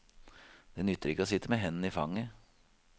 Det nytter ikke å sitte med hendene i fanget.